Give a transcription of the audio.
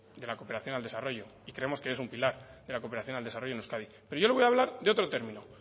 de la cooperación al desarrollo y creemos que es un pilar de la cooperación al desarrollo en euskadi pero yo le voy a hablar de otro término